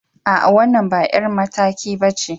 A'a, wannan ba 'yar mataki ba ce.